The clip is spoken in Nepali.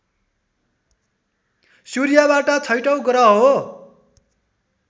सूर्यबाट छैटौं ग्रह हो